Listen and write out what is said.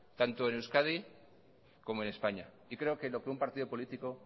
tanto en euskadi como en españa y creo que lo que un partido político